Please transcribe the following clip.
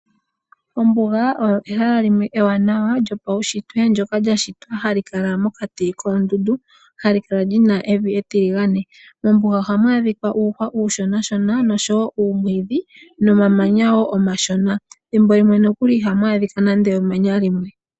Ombuga oyo ehala limwe ewanawa lyopaunshitwe ndyoka lya shitwa hali kala mokati koondundu ha li kala li na evi etiligane. Mombuga oha mu adhika uuhwa uushonashona noshowo uumwiidhi nomamanya wo omashona. Thimbo limwe nokuli iha mu adhika nande emanya limwe.